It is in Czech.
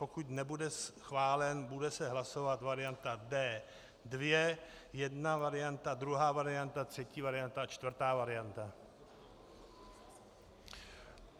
Pokud nebude schválen, bude se hlasovat varianta D2, jedna varianta, druhá varianta, třetí varianta, čtvrtá varianta.